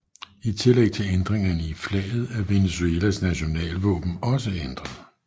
I tillæg til ændringerne i flaget er Venezuelas nationalvåben også ændret